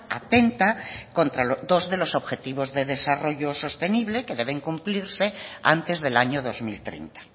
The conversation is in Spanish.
atenta contra dos de los objetivos de desarrollo sostenible que deben cumplirse antes del año dos mil treinta